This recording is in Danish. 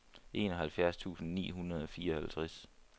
enoghalvfjerds tusind ni hundrede og fireoghalvtreds